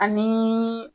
Ani